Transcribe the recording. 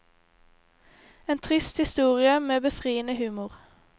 En trist historie med befriende humor.